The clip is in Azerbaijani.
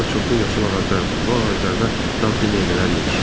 Orda çoxlu yaşıl ağaclar var, bu ağaclarda dadlı meyvələr yetişir.